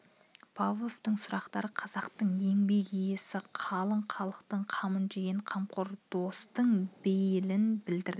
павловтың сұрақтары қазақтың еңбек иесі қалың халқының қамын жеген қамқор достың бейілін білдірді